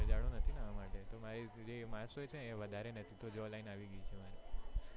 જાડો નથી ને એના માટે મારી જે માસ હોય છે તે વધારે નથી line આવી ગયી છે મારે